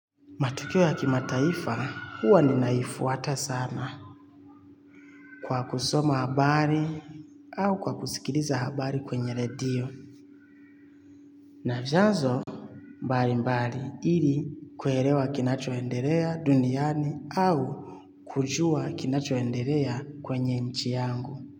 Matukio ya kimataifa huwa ninaifuata sana kwa kusoma habari au kwa kusikiliza habari kwenye redio. Na vyanzo mbalimbali ili kuelewa kinachoendelea duniani au kujua kinachoendelea kwenye nchi yangu.